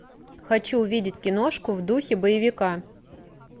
хочу увидеть киношку в духе боевика